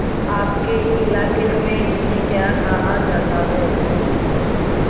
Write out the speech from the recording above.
आपके इलाके में इन्हें क्या कहा जाता है